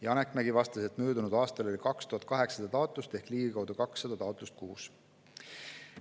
Janek Mägi vastas, et möödunud aastal oli 2800 taotlust ehk ligikaudu 200 taotlust kuus.